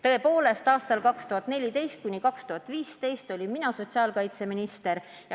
Tõepoolest, aastail 2014–2015 olin mina sotsiaalkaitseminister.